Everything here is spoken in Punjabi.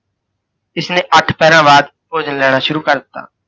ਇਸਨੇ ਅੱਠ ਪਹਿਰਾਂ ਬਾਅਦ ਭੋਜਨ ਲੈਣਾ ਸ਼ੁਰੂ ਕਰ ਦਿੱਤਾ।